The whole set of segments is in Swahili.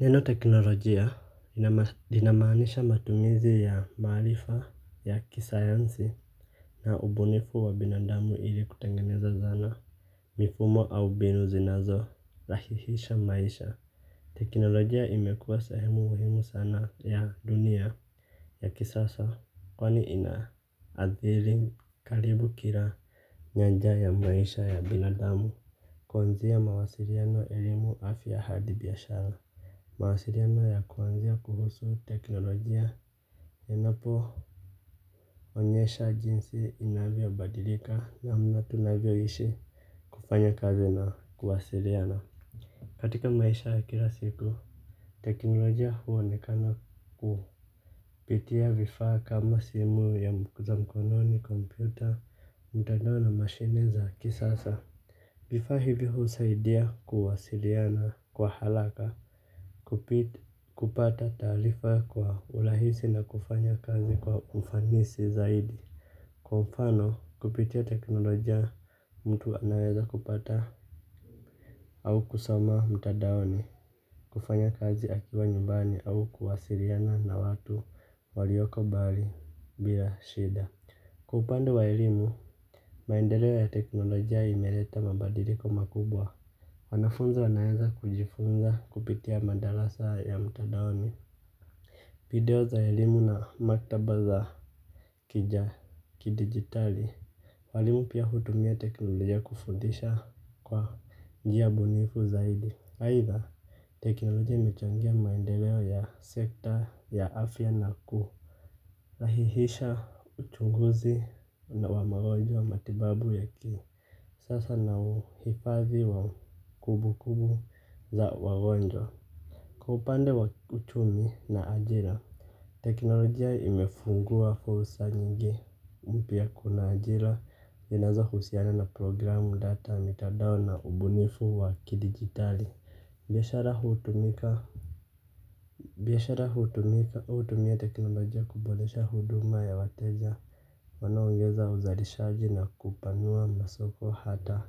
Neno teknolojia inamanisha matumizi ya maarifa ya kisayansi. Na ubunifu wa binadamu ili kutengeneza zana mifumo au mbinu zinazorahisisha maisha. Teknolojia imekuwa sehemu muhimu sana ya dunia ya kisasa. Kwani ina athiri karibu kila nyanja ya maisha ya binadamu. Kuanzia ya mawasiliano elimu afya hadi biashara mawasiliano ya kuanzia kuhusu teknolojia inapo onyesha jinsi inavyobadilika namna tunavyoishi. Kufanya kazi na kuwasiliana katika maisha ya kila siku teknolojia huonekana kupitia vifaa kama simu za mkononi, kompyuta mtandao na mashineza kisasa. Vifaa hivi husaidia kuwasiliana kwa haraka. Kupata taarifa kwa urahisi na kufanya kazi kwa ufanisi zaidi. Kwa mfano kupitia teknolojia mtu anaweza kupata au kusoma mtadaoni. Kufanya kazi akiwa nyumbani au kuwasiliana na watu walioko mbali bila shida. Kwa upande wa elimu, maendeleo ya teknolojia imeleta mabadiliko makubwa. Wanafunzi wanaweza kujifunza kupitia madarasa ya mtandaoni. Video za elimu na maktaba za kidigitali. Walimu pia hutumia teknolojia kufundisha kwa njia bunifu zaidi aitha teknolojia imechangia maendeleo ya sekta ya afya na kurahisisha uchunguzi wa magonjwa wa matibabu ya ki sasa na uhifadhi wa kumbukumbu za wagonjwa. Kupa upande wa uchumi na ajira. Teknolojia imefungua fursa nyingi. Mpya kuna ajila zinazohusiana na programu data mitandao na ubunifu wa kidigitali. Biashara hutumika biashara hutumika hutumia teknolojia kuboresha huduma ya wateja. Wanaongeza uzalishaji na kupanua masoko hata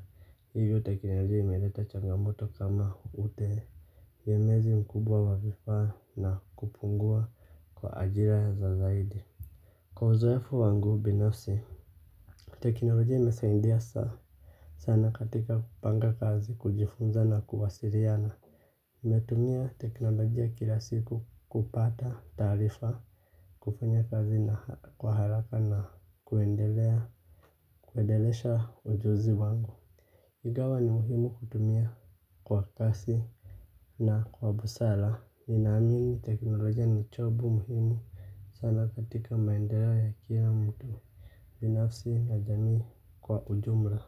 hivyo teknolojia imeleta changamoto kama utee gemezi mkubwa wa vifaa na kupungua kwa ajira za zaidi. Kwa uzoefu wangu binafsi teknolojia imesaidia. Sana katika kupanga kazi kujifunza na kuwasiliana nametumia teknolojia kila siku kupata taarifa kufanya kazi na kwa haraka na kuendelea kuendelesha ujuzi wangu ingawa ni muhimu kutumia kwa kasi na kwa busara ninaamini teknolojia ni chombo muhimu sana katika maendeleo ya kila mtu binafsi na jamii kwa ujumla.